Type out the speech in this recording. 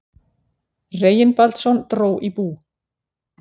Reginbaldsson dró í bú.